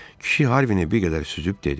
Kişi Harvin bir qədər süzüb dedi: